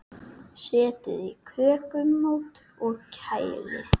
Setjið í kökumót og kælið.